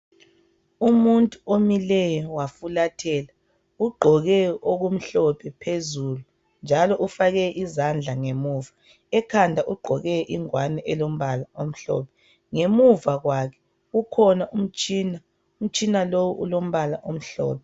Umuntu omileyo wafulathela ,ugqoke okumhlophe phezulu njalo ufake izandla ngemuva .Ekhanda ugqoke ingwane elombala omhlophe. Ngemuva kwakhe kukhona umtshina , umtshina lowu ulombala omhlophe.